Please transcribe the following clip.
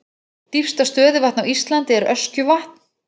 Dýpsta stöðuvatn á Íslandi er Öskjuvatn.